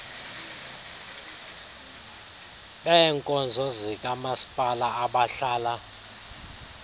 beebkonzo zikamaspala abahlala